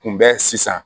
Kunbɛn sisan